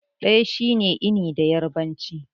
Ɗaya shine 'eni' da yarbanci.